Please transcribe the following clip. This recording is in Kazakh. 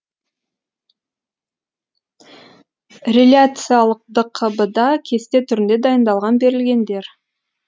реляциялық дқб да кесте түрінде дайындалған берілгендер